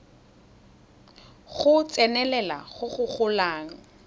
go tsenelela go go golang